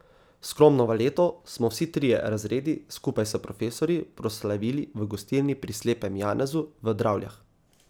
Skromno valeto smo vsi trije razredi skupaj s profesorji proslavili v gostilni Pri slepem Janezu v Dravljah.